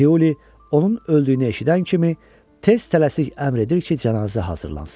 Tiuli onun öldüyünü eşidən kimi tez tələsik əmr edir ki, cənazə hazırlansın.